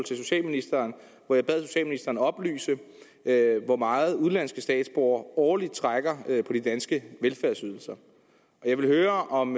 socialministeren hvor jeg bad socialministeren oplyse hvor meget udenlandske statsborgere årligt trækker på de danske velfærdsydelser jeg vil høre om